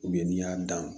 n'i y'a dan